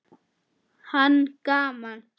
Hann: Gaman.